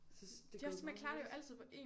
Synes det er gået meget hurtigt